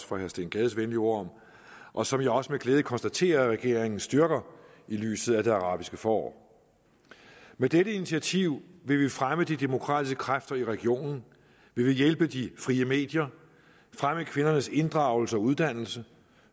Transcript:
for herre steen gades venlige ord om og som jeg også med glæde konstaterer at regeringen styrker i lyset af det arabiske forår med dette initiativ vil vi fremme de demokratiske kræfter i regionen vi vil hjælpe de frie medier fremme kvindernes inddragelse og uddannelse